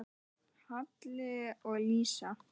Halli og Lísa.